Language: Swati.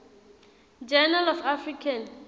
journal of african